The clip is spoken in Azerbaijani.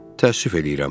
Təəssüf eləyirəm.